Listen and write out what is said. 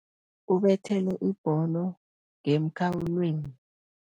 Ubethele ibholo ngemkhawulweni.